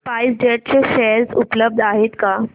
spice jet चे share उपलब्ध आहेत का